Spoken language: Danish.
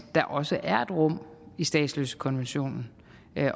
der også er rum i statsløsekonventionen